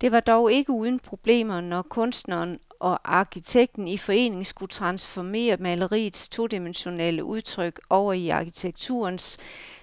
Det var dog ikke uden problemer, når kunstneren og arkitekten i forening skulle transformere maleriets todimensionelle udtryk over i arkitekturens